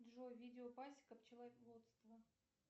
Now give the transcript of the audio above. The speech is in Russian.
джой видео пасека пчеловодство